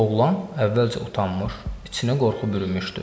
Oğlan əvvəlcə utanmış, içinə qorxu bürümüşdü.